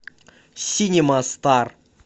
синема стар